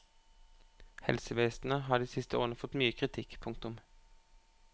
Helsevesenet har de siste årene fått mye kritikk. punktum